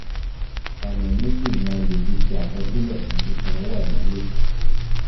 Ọ̀nà méjì ni a le fi ṣe àkọsílẹ̀ fún sísan owó àyálò